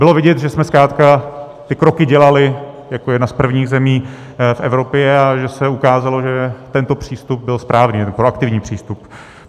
Bylo vidět, že jsme zkrátka ty kroky dělali jako jedna z prvních zemí v Evropě a že se ukázalo, že tento přístup byl správný, proaktivní přístup.